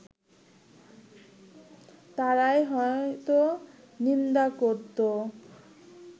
তারাই হয়তো নিন্দা করতো